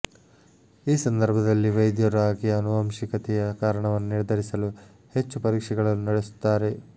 ಈ ಸಂದರ್ಭದಲ್ಲಿ ವೈದ್ಯರು ಆಕೆಯ ಅನುವಂಶಿಕತೆಯ ಕಾರಣವನ್ನು ನಿರ್ಧರಿಸಲು ಹೆಚ್ಚು ಪರೀಕ್ಷೆಗಳನ್ನು ನಡೆಸುತ್ತಾರೆ